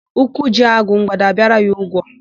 Ụkwụ jie agụ, mgbada abịara ya ụgwọ.